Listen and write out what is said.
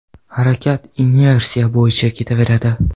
Harakat inersiya bo‘yicha ketaveradi.